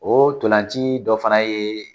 O ntolanci dɔ fana ye